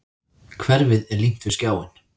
Hverfið er límt við skjáinn.